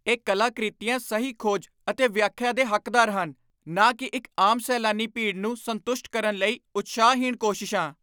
ਇਹ ਕਲਾਕ੍ਰਿਤੀਆਂ ਸਹੀ ਖੋਜ ਅਤੇ ਵਿਆਖਿਆ ਦੇ ਹੱਕਦਾਰ ਹਨ, ਨਾ ਕਿ ਇੱਕ ਆਮ ਸੈਲਾਨੀ ਭੀੜ ਨੂੰ ਸੰਤੁਸ਼ਟ ਕਰਨ ਲਈ ਉਤਸ਼ਾਹਹੀਣ ਕੋਸ਼ਿਸ਼ਾਂ।